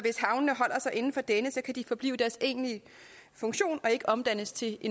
inden for denne kan de forblive i deres egentlige funktion og ikke omdannes til